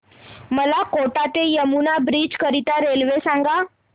मला कोटा ते यमुना ब्रिज करीता रेल्वे सांगा